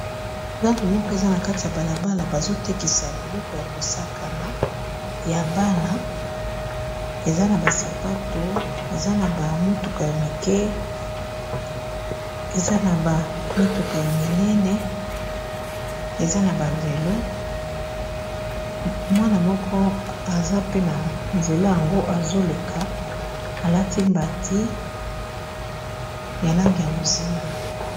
Zato moko eza na kati ya bala bala bazotekisa biloko yako sakana ya bana eza na ba sapato eza na ba motuka ya mike eza na ba mituka ya minene eza na ba velo, mwana moko aza pe na nzela yango azo leka alati mbati ya langi ya bozinga.